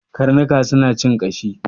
Karnuka suna cin ƙashi.